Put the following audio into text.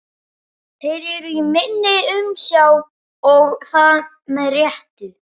Þeir eru í minni umsjá og það með réttu.